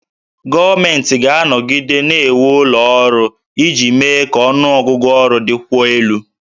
Gọọmenti ga-anọgide na-ewu ụlọ ọrụ iji mee ka ọnụ ọgụgụ ọrụ dịkwuo elu